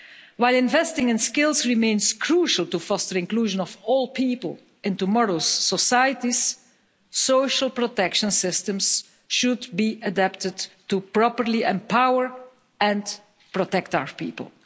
While investing in skills remains crucial to foster the inclusion of all people in tomorrow's societies, social protection systems should be adapted to properly empower and protect our people.